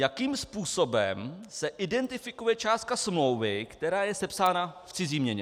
Jakým způsobem se identifikuje částka smlouvy, která je sepsána v cizí měně.